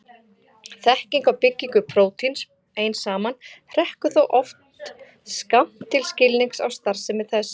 Þekking á byggingu prótíns ein saman hrekkur þó oft skammt til skilnings á starfsemi þess.